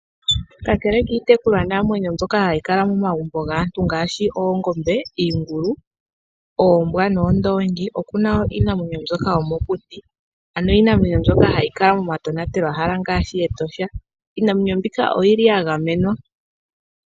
Kakele kiitekulwa namwenyo ndyoka hayi kala momagumbo gaantu ngaashi oongombe, iingulu, oombwa noondoongi opena woo iinamwenyo ndyoka yomokuti. Iinamwenyo ndyoka hayi kala momatonatelo hala ngaashi Etosha. Iinamwenyo mbika oyili mo yaga menwa.